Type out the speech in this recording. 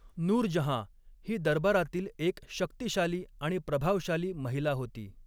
नूरजहाँ ही दरबारातील एक शक्तिशाली आणि प्रभावशाली महिला होती.